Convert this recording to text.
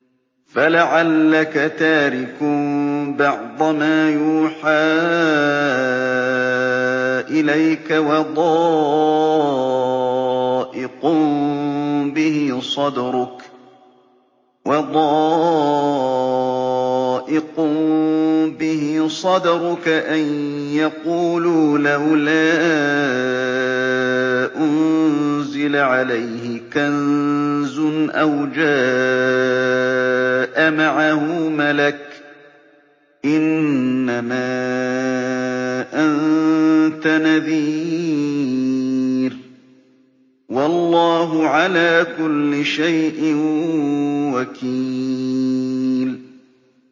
فَلَعَلَّكَ تَارِكٌ بَعْضَ مَا يُوحَىٰ إِلَيْكَ وَضَائِقٌ بِهِ صَدْرُكَ أَن يَقُولُوا لَوْلَا أُنزِلَ عَلَيْهِ كَنزٌ أَوْ جَاءَ مَعَهُ مَلَكٌ ۚ إِنَّمَا أَنتَ نَذِيرٌ ۚ وَاللَّهُ عَلَىٰ كُلِّ شَيْءٍ وَكِيلٌ